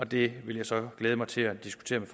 det vil jeg så glæde mig til at diskutere med